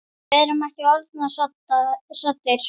Við erum ekki orðnir saddir.